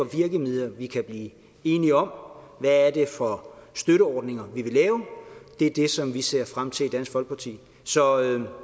virkemidler vi kan blive enige om hvad er det for støtteordninger vi vil lave det er det som vi ser frem til i dansk folkeparti så